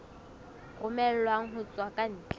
romellwang ho tswa ka ntle